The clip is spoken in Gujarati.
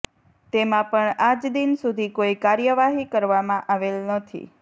તેમાં પણ આજ દિન સુધી કોઈ કાર્યવાહી કરવામાં આવેલ નથી